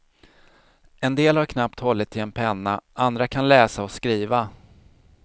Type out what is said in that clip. En del har knappt hållit i en penna, andra kan läsa och skriva.